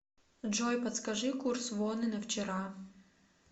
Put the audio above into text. джой подскажи курс воны на вчера